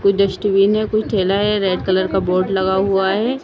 कोई डस्टबीन है कोई थैला है रेड कलर का बोर्ड लगा हुआ है‌।